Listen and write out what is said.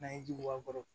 N'an ye ji bɔ a kɔrɔ